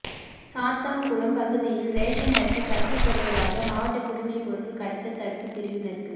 சாத்தான்குளம் பகுதியில் ரேஷன் அரிசி கடத்தப்படுவதாக மாவட்ட குடிமைப்பொருள் கடத்தல் தடுப்புப் பிரிவினருக்கு